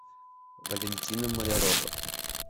валентина малярова